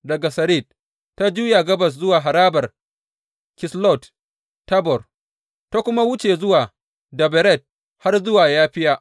Daga Sarid, ta juya gabas zuwa harabar Kislot Tabor, ta kuma wuce zuwa Daberat har zuwa Yafiya.